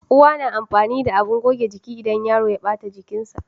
Uwa na amfani da abin goge jiki idan yaro ya ɓata jikinsa